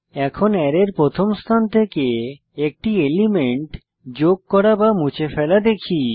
এখন অ্যারের প্রথম স্থান থেকে একটি এলিমেন্ট যোগ করামুছে ফেলা দেখি